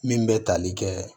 Min bɛ tali kɛ